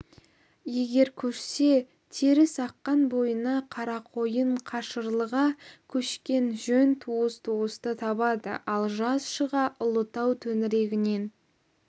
егер көшсе терісаққан бойына қарақойын қашырлыға көшкен жөн туыс туысты табады ал жаз шыға ұлытау төңірегінен